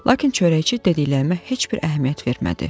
Lakin çörəkçi dediklərimə heç bir əhəmiyyət vermədi.